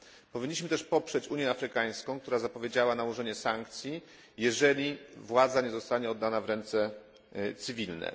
Powinniśmy też poprzeć Unię Afrykańską, która zapowiedziała nałożenie sankcji, jeżeli władza nie zostanie oddana w ręce cywilne.